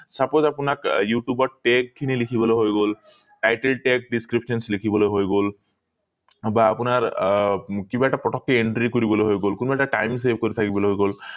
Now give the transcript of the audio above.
suppose আপোনাক আহ youtube ত teg খিনি লিখিবলৈ হৈ গল title teg description লিখিবলৈ হৈ গল বা আপোনাৰ আহ কিবা এটা পতকে entry কৰিবলৈ হৈ গল কোনোবা এটা time save কৰি থাকিবলৈ হৈ গল